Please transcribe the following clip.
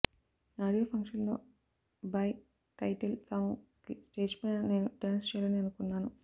audio function లో Bhai title song కి stage పైన నేను డాన్స్ చెయ్యాలని అనుకున్నాను